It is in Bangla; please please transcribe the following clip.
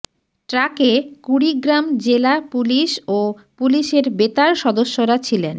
ট্রাকে কুড়িগ্রাম জেলা পুলিশ ও পুলিশের বেতার সদস্যরা ছিলেন